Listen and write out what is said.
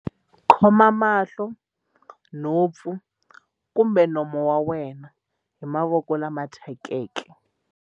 Khoma mahlo, nhompfu kumbe nomo wa wena hi mavoko lama thyakeke.